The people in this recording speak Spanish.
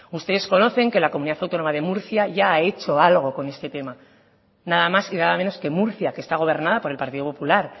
ustedes conocen que la comunidad autónoma de murcia ya ha hecho algo con este tema nada más y nada menos que murcia que está gobernada por el partido popular